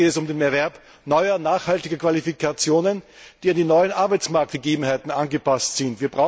Konkret geht es um den Erwerb neuer, nachhaltiger Qualifikationen, die an die neuen Arbeitsmarktgegebenheiten angepasst sind.